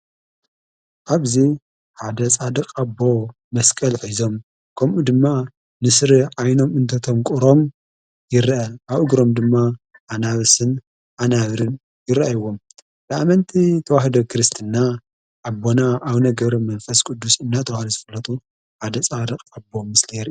ኣብዙ ሓደጻድቕ ኣቦ መስቀል ሕዞም ከምኡ ድማ ንስሪ ዓይኖም እንትአትዮም የንቁሮም ይርአ ኣብ እግሮም ድማ ኣናብስን ኣናብርን ይረአዎም ለኣመንቲ ተዋህደ ክርስትና ኣቦና ኣው ነገር መንፈስ ቅዱስ እናተዋሪ ዝፈለጡ ሓደ ፃድቕ ኣቦ ምስሊ ይረአ::